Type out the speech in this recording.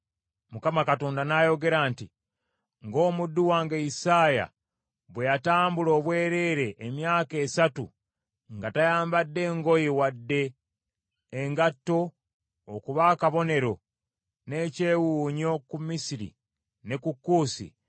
Mukama Katonda n’ayogera nti, “Ng’omuddu wange Isaaya bwe yatambula obwereere emyaka esatu nga tayambadde ngoye wadde engatto okuba akabonero n’ekyewuunyo ku Misiri ne ku Kuusi;